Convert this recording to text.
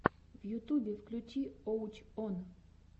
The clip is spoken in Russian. в ютубе включи уоч он